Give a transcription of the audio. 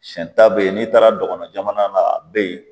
Siɲɛ ta be yen n'i taara dɔgɔnɔ la a be yen